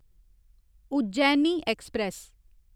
Ujjaini express